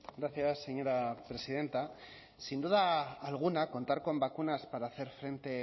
gracias señora presidenta sin duda alguna contar con vacunas para hacer frente